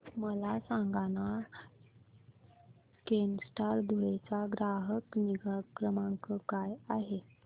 मला सांगाना केनस्टार धुळे चा ग्राहक निगा क्रमांक काय आहे